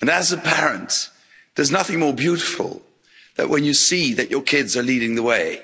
and as a parent, there's nothing more beautiful than when you see that your kids are leading the way.